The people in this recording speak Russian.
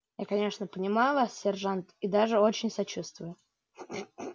я конечно понимаю вас сержант и даже очень сочувствую